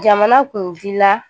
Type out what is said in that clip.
Jamana kunfi la